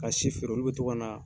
Ka si feere olu bɛ to kana